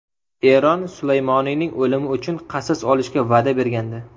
Eron Sulaymoniyning o‘limi uchun qasos olishga va’da bergandi.